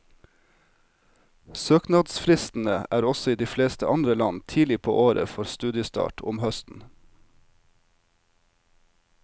Søknadsfristene er også i de fleste andre land tidlig på året for studiestart om høsten.